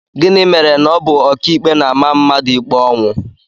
Gịnị mere na ọ bụ ọkàikpe na-ama mmadụ ikpe ọnwụ?